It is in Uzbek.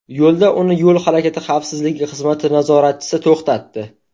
Yo‘lda uni yo‘l harakati xavfsizligi xizmati nazoratchisi to‘xtatdi.